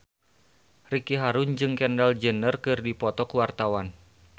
Ricky Harun jeung Kendall Jenner keur dipoto ku wartawan